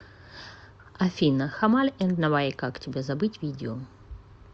афина хамаль энд навай как тебя забыть видео